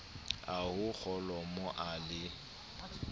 a ho kholomo a le